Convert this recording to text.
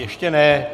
Ještě ne.